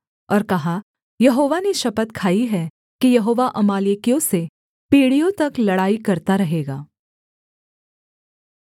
और कहा यहोवा ने शपथ खाई है कि यहोवा अमालेकियों से पीढ़ियों तक लड़ाई करता रहेगा